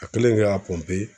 A kɛlen k'a